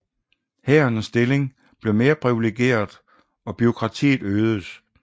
Hærens stilling blev mere privilegeret og bureaukratiet øgedes